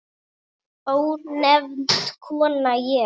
Ónefnd kona: Ég?